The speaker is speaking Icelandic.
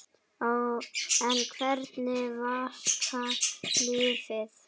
En hvernig virkar lyfið?